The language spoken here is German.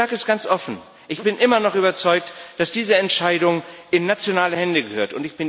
Ich sage es ganz offen Ich bin immer noch überzeugt, dass diese Entscheidung in nationale Hände gehört.